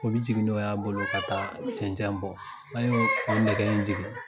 O bɛ jigin nɔ y'a bolo ka taa cɛncɛn bɔ, a'o nɛgɛ jigin